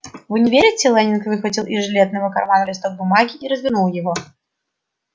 вы не верите лэннинг выхватил из жилетного кармана листок бумаги и развернул его